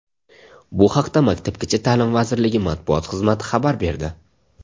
Bu haqda Maktabgacha ta’lim vazirligi matbuot xizmati xabar berdi .